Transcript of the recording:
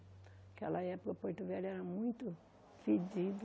Naquela época Porto Velho era muito fedido.